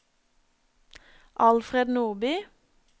Alfred Nordby